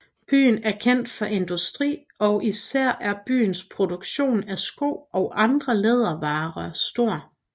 Byen er kendt for industri og især er byens produktion af sko og andre lædervarer stor